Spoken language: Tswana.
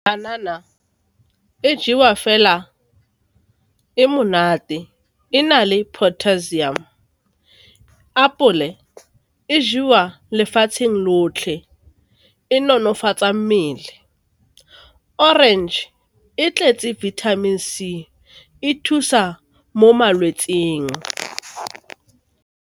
Banana e jewa fela e monate, e na le potassium. Apole e jewa lefatsheng lotlhe, e nonofatsa mmele. Orange e tletse vitamin C, e thusa mo malwetsing.